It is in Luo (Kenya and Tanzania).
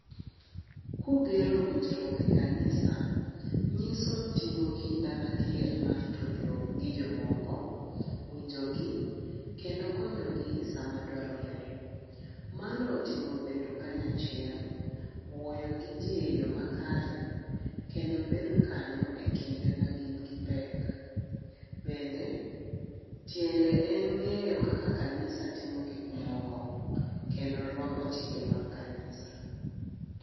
Kugero winjruok e kanisa nyiso timo kinda ma adier mar tudruok gi jomoko, winjo gi kendo konyogi sama dwarore. Mano otingo bedo kanyo achiel, wuoyo gi jii e yoo makare kendo bedo kanyo ekinde magin gi pek. Bende tiende en ngeyo kaka kanisa timo gik moko kendo rwako chike mag kanisa